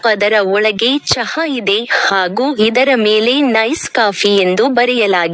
ಮತ್ತು ಅದರ ಒಳಗೆ ಚಹಾ ಇದೆ ಹಾಗು ಇದರ ಮೇಲೆ ನೈಸ್ ಕಾಫಿ ಎಂದು ಬರೆಯಲಾಗಿದೆ.